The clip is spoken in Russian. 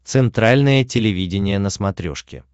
центральное телевидение на смотрешке